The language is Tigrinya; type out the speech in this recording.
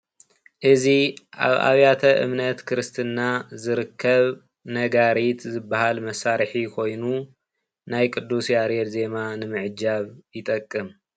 እዚ ኣብ ኣብያተ እምነት ክርስትና ዝርከብ ነጋሪት ዝባሃል መሳርሒ ኮይኑ ናይ ቅዱስ ያሬድ ዜማ ንምዕጃብ ይጠቅም ።